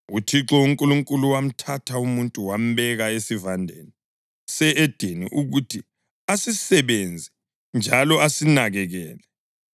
Uthixo uNkulunkulu wamthatha umuntu wambeka eSivandeni se-Edeni ukuthi asisebenze njalo asinakekele.